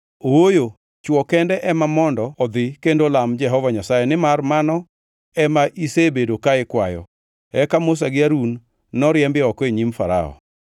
Ooyo! Chwo kende ema mondo odhi kendo olam Jehova Nyasaye nimar mano ema isebedo ka ikwayo.” Eka Musa gi Harun noriembi oko e nyim Farao.